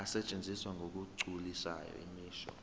asetshenziswa ngokugculisayo imisho